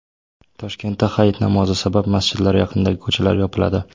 Toshkentda hayit namozi sabab masjidlar yaqinidagi ko‘chalar yopiladi.